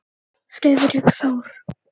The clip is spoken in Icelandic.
Friðrik Þór.